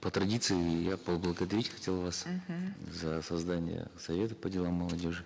по традиции я поблагодарить хотел вас мхм за создание совета по делам молодежи